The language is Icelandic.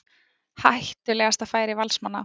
Hættulegasta færi Valsmanna.